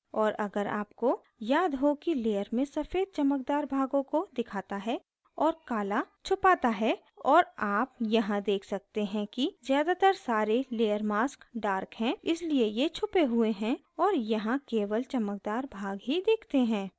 और अगर आपको याद हो कि layer में सफ़ेद चमकदार भागों को दिखाता है और काला छुपाता है और आप यहाँ देख सकते हैं कि ज़्यादातर सारे layer mask dark हैं इसलिए ये छुपे हुए हैं और यहाँ केवल चमकदार भाग ही दिखते हैं